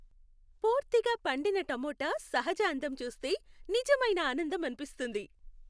పూర్తిగా పండిన టమోటా సహజ అందం చూస్తే నిజమైన ఆనందం అనిపిస్తుంది.